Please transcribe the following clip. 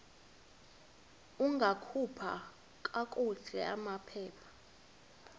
ungakhupha kakuhle amaphepha